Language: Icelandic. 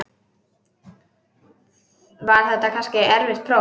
Var þetta kannski erfitt próf?